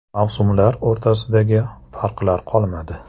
Mavsumlar o‘rtasidagi farqlar qolmadi.